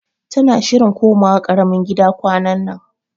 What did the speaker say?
Tana shirin komawa karamin gida kwanannan